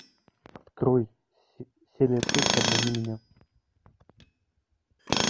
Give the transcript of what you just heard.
открой серия шесть обмани меня